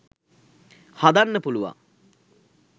හදන්න පුළුවන්.